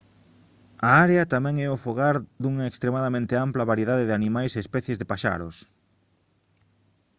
a área tamén é o fogar dunha extremadamente ampla variedade de animais e especies de paxaros